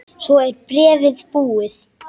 Svo er bréfið búið